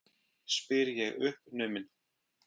spyr ég uppnumin.